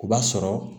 O b'a sɔrɔ